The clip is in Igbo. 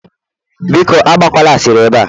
Biko Agba kwala asịrị ebe a